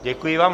Děkuji vám.